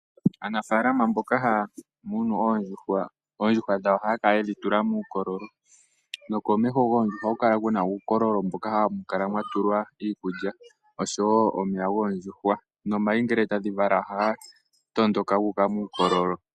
Aanafaalama mboka haya munu oondjuhwa, oondjuhwa dhawo ohaya kala yedhi tula muukololo. No komeho goondjuhwa ohaku kala ku na uukololo ,mboka hawu kala wa tulwa iikulya oshowo omeya goondjuhwa. Nomayi ngele tadhi vala ohaga tondoka gu uka muukololo.